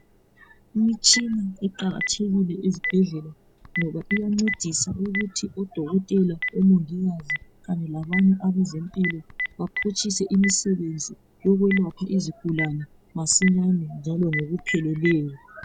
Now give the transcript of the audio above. Imitshina iqakathekile ezibhedlela ngoba iyancedisa ukuthi odokotela omongikazi kanye labanye abezempilo baphutshise imisebenzi yokwelapha izigulane masinyane njalo ngokupheleleyo.